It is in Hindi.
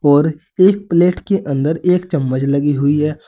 और एक प्लेट के अंदर एक चम्मच लगी हुई है।